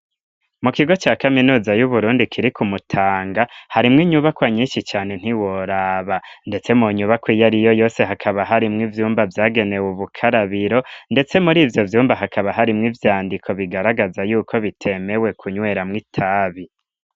Mu kigo ca kaminuza y'uburundi kiri ku mutanga harimwo inyubakwa nyinshi cane ntiworaba, ndetse mu nyubako iyo ari yo yose hakaba harimwo ivyumba vyagenewe ubukarabiro, ndetse muri ivyo vyumba hakaba harimwo ivyandiko bigaragaza yuko bitemewe ku nywera mwo itabi.